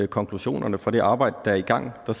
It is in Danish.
konklusionerne på det arbejde der er i gang der